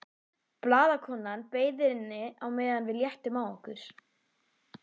Blaðakonan beið inni á meðan við léttum á okkur.